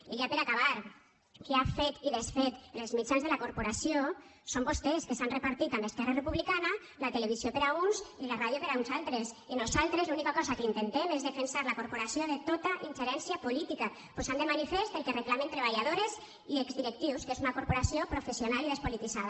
i ja per acabar qui ha fet i desfet en els mitjans de la corporació són vostès que s’han repartit amb esquerra republicana la televisió per a uns i la ràdio per a uns altres i nosaltres l’única cosa que intentem és defensar la corporació de tota ingerència política posant de manifest el que reclamen treballadores i exdirectius que és una corporació professional i despolititzada